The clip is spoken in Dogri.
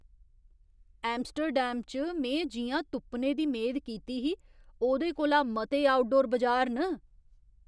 एम्स्टर्डम च में जि'यां तुप्पने दी मेद कीती ही, ओह्दे कोला मते आउटडोर बजार न।